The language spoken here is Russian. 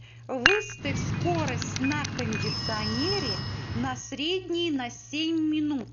выставь скорость на кондиционере на средний на семь минут